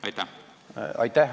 Aitäh!